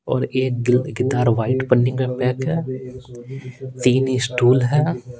और एक guitar white पनि का पैक है तीन स्टूल है।